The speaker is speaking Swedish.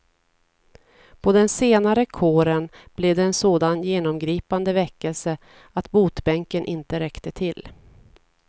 På den senare kåren blev det en sådan genomgripande väckelse att botbänken inte räckte till.